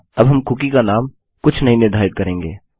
अब हम कुकी का नाम कुछ नहीं निर्धारित करेंगे